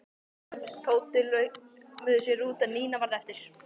Örn og Tóti laumuðu sér út en Nína varð eftir.